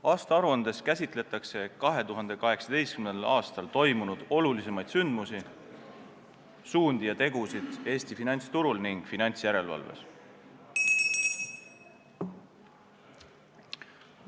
Aastaaruandes käsitletakse 2018. aastal toimunud olulisimaid sündmusi, suundi ja tegusid Eesti finantsturul ning finantsjärelevalves.